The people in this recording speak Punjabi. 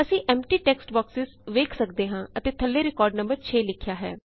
ਅਸੀਂ ਐਮਪਟੀ ਟੈਕਸਟ ਬੌਕਸੇਜ਼ ਵੇਖ ਸਕਦੇ ਹਾਂ ਅਤੇ ਥੱਲੇ ਰਿਕਾਰਡ ਨੰਬਰ 6 ਲਿਖਿਆ ਹੈ